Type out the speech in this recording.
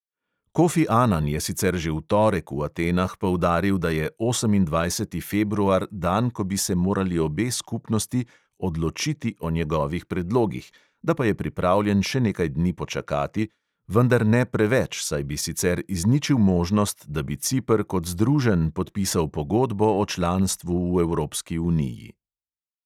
Kofi anan je sicer že v torek v atenah poudaril, da je osemindvajseti februar dan, ko bi se morali obe skupnosti odločiti o njegovih predlogih, da pa je pripravljen še nekaj dni počakati, vendar ne preveč, saj bi sicer izničil možnost, da bi ciper kot združen podpisal pogodbo o članstvu v evropski uniji.